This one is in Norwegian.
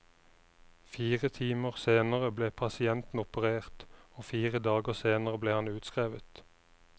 Fire timer senere ble pasienten operert, og fire dager senere ble han utskrevet.